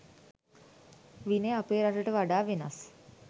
විනය අපේ රටට වඩා වෙනස්.